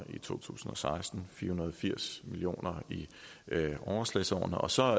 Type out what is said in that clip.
i to tusind og seksten fire hundrede og firs million kroner i overslagsårene og så